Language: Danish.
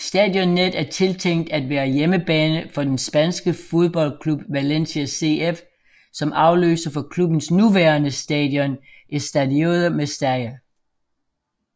Stadionnet er tiltænkt af være hjemmebane for den spanske fodboldklub Valencia CF som afløser for klubbens nuværende stadion Estadio Mestalla